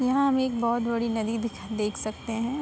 यहाँ हमें एक बोहोत बड़ी नदी दिखाई देख सकते हैं।